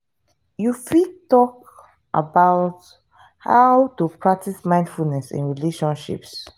you fit talk about how to practice mindfulness in relationships.